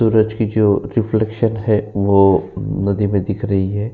सूरज की जो रिफ्लेक्शन है वो नदी में दिख रही है।